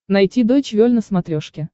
найти дойч вель на смотрешке